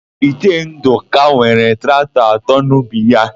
Ichie Ndụka nwere traktọ atọ n'ubi ya.